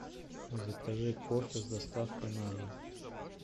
закажи кофе с доставкой на дом